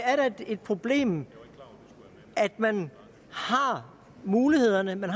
er da et problem at man har mulighederne at man